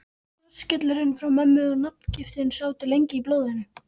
Rassskellurinn frá mömmu og nafngiftin sátu lengi í blóðinu.